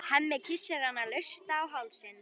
Hemmi kyssir hana laust á hálsinn.